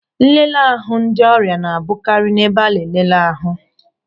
Nlele ahụ ndị ọrịa na-abụkarị n'ebe nleleahu.